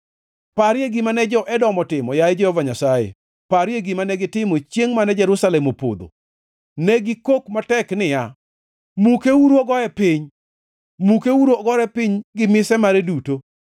Parie gima ne jo-Edom otimo, yaye Jehova Nyasaye, parie gima negitimo chiengʼ mane Jerusalem opodho. Ne gikok matek niya, “Mukeuru ogoye piny. Mukeuru ogore piny gi mise mare duto!”